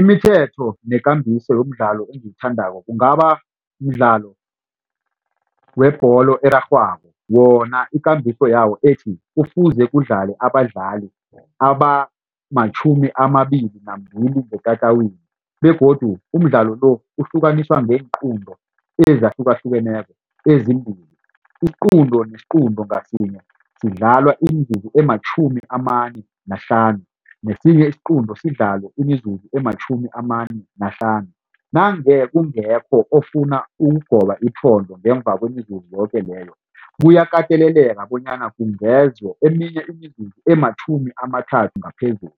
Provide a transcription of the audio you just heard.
Imithetho nekambiso yomdlalo engiwuthandako kungaba mdlalo webholo erarhwako wona ikambiso yawo ethi kufuze kudlalwe abadlali abamatjhumi amabili nambili ngetatawini begodu umdlalo lo uhlukaniswa kweenqunto ezahlukahlukeneko ezimbili. Isiqunto nesiqunto ngasinye sidlala imizuzu ematjhumi amane nahlanu nesinye isiqunto sidlala imizuzu ematjhumi amane nahlanu. Nange kungekho ofuna ukugoba iphondo ngemva kwemizuzo yoke leyo kuyakateleleka bonyana kungezwe eminye imizuzu ematjhumi amathathu ngaphezulu